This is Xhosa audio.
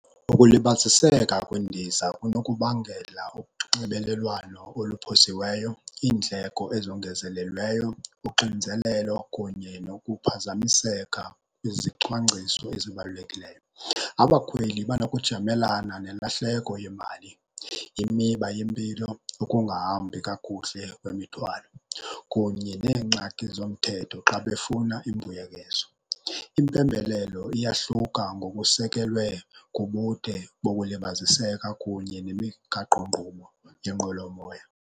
Ukulibaziseka kwendiza kunokubangela unxibelelwano oluphosiweyo, iindleko ezongezelelweyo, uxinzelelo kunye nokuphazamiseka kwizicwangciso ezibalulekileyo. Abakhweli banokujamelana nelahleko yemali, imiba yempilo, ungahambi kakuhle kwemithwalo kunye neengxaki zomthetho xa befuna imbuyekezo. Impembelelo iyahluka ngokusekelwe kubude bokulibaziseka kunye nemigaqonkqubo yenqwelomoya.